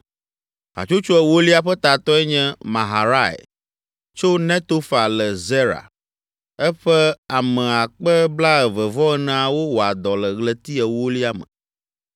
Hatsotso ewolia ƒe tatɔe nye Maharai tso Netofa le Zera. Eƒe ame akpe blaeve-vɔ-eneawo (24,000) wɔa dɔ le ɣleti ewolia me.